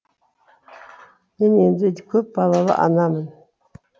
мен енді көп балалы анамын